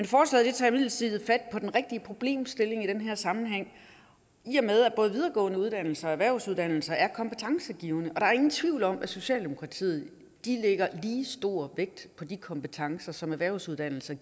forslaget tager imidlertid fat på den rigtige problemstilling i den her sammenhæng i og med at både videregående uddannelser og erhvervsuddannelser er kompetencegivende der er ingen tvivl om at socialdemokratiet lægger lige vægt på de kompetencer som erhvervsuddannelser